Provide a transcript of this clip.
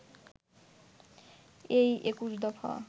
এই ২১ দফা